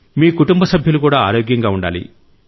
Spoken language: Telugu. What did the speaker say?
మీ కుటుంబ సభ్యులు కూడా ఆరోగ్యంగా ఉండాలి